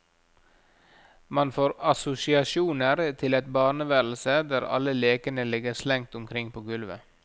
Man får assosiasjoner til et barneværelse der alle lekene ligger slengt omkring på gulvet.